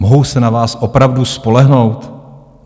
Mohou se na vás opravdu spolehnout?